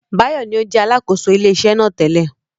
Báyọ̀ ní ó jẹ́ Alákóso ilé iṣẹ́ náà tẹ́lẹ̀